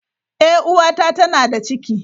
Eh uwata tana da ciki.